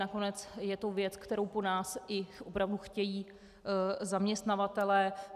Nakonec je to věc, kterou po nás i opravdu chtějí zaměstnavatelé.